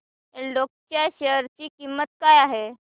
एल्डेको च्या शेअर ची किंमत काय आहे